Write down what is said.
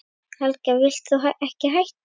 Helga: Vilt þú ekki hætta?